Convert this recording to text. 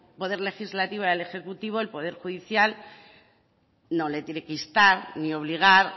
poder legislativo y al ejecutivo el poder judicial no le tiene que instar ni obligar